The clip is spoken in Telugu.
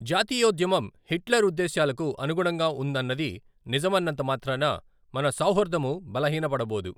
జాతీయోద్యమం హిట్లర్ ఉద్దేశ్యాలకు అనుగుణంగా ఉందన్నది నిజమన్నంత మాత్రాన, మన సౌహార్దము బలహీనబడబోదు.